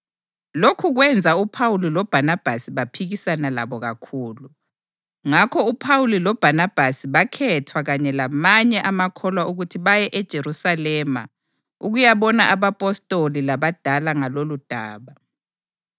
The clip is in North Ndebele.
Lokhu kwenza uPhawuli loBhanabhasi baphikisana labo kakhulu. Ngakho uPhawuli loBhanabhasi bakhethwa kanye lamanye amakholwa ukuthi baye eJerusalema ukuyabona abapostoli labadala ngaloludaba.